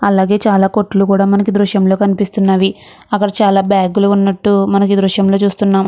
అలాగే చాల కొట్లు కూడా మనకి దృశ్యం లో కనిపిస్తునది అక్క్కడ మనకి చాల బ్యాగ్లు వున్నటు మనం దృశ్యం లో చుస్తునాం.